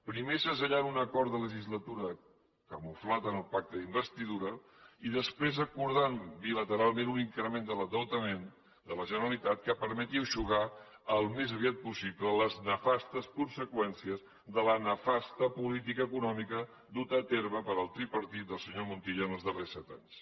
primer segellant un acord de legislatura camuflat en el pacte d’investidura i després acordant bilateralment un increment de l’endeutament de la generalitat que permeti eixugar al més aviat possible les nefastes conseqüències de la nefasta política econòmica duta a terme per el tripartit del senyor montilla en els darrers set anys